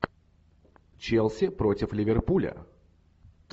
челси против ливерпуля